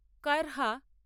কারহা